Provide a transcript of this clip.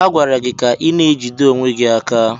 A gwara gị ka ị na-ejide onwe gị!